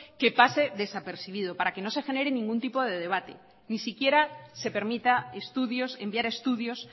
que pase desapercibido para que no se genere ningún tipo de debate ni siquiera se permita estudios enviar estudios